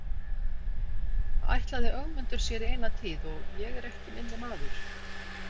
Það ætlaði Ögmundur sér í eina tíð og ég er ekki minni maður.